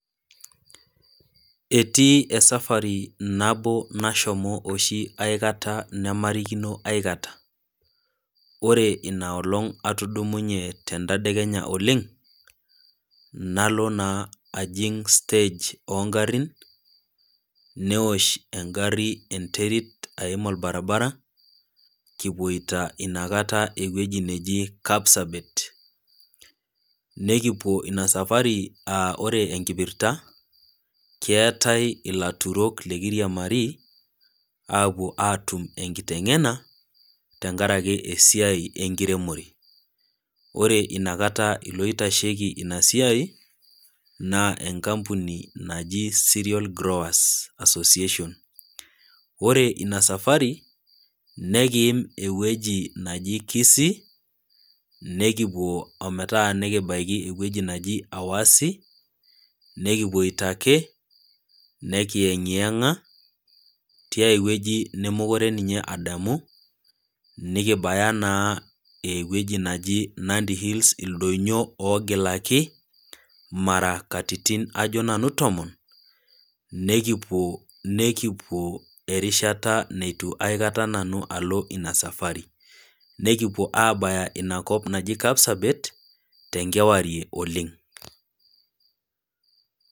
Etii esafari nabo nashomo oshi aikata namairikino aikata, ore inaa olong' atudumunye entadekenya oleng', nalo naa ajing' stage o ngarin, neosh engari enterit aim olbaribara, kipuoita ina kata ewueji naji Kapsabet, nekipuo ina safari aa ore enkipirta, keatai ilaturok lekiriamari, apuo aatum enkiteng'ena, tenkaraki esiai enkiremore, ore inakata iloitasheiki ina siai, naa enkapuninaji Cereal Growers Association. Ore ina safari, nekiim ewueji naji Kisii, nekipuo ometaa nekibaiki ewueji naji Awasi, nekipuoita ake, nekieng'eng'a tiai wueji nemekure ninye adamu, nekibaya naa ewueji naji Nandi Hills, ildonyo ogilaki, mara katitin ajo nanu tomon, nekipuo, nekipuo, erishata neitu aikata nanu alo ina safari. Nekipuo aabaya inakop naji Kapsabet tenkewarie oleng'.